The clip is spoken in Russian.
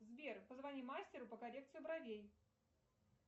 сбер позвони мастеру по коррекции бровей